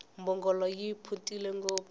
mbhongolo yi phuntile ngopfu